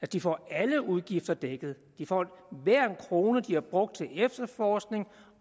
de får alle udgifter dækket de får hver en krone de har brugt til efterforskning og